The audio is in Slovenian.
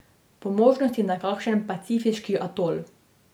Po možnosti na kakšen pacifiški atol.